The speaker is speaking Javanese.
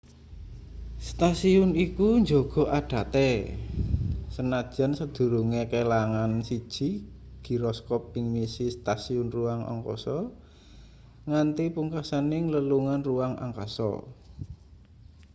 stasiun iku njaga adate sanajan sadurunge kelangan siji giroskop ing misi stasiun ruang angkasa nganti pungkasaning lelungan ruang angkasa